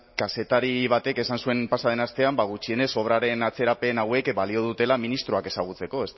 kazetari batek esan zuen pasa den astean gutxienez obraren atzerapen hauek balio dutela ministroak ezagutzeko